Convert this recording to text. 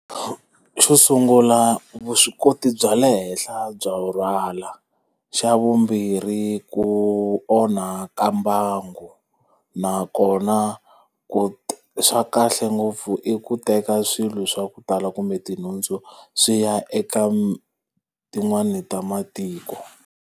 Xo sungula vuswikoti bya le henhla bya ku rhwala. Xa vumbirhi ku onha ka mbangu, nakona ku swa kahle ngopfu i ku teka swilo swa ku tala kumbe tinhundzu swi ya eka tin'wani ta matiko.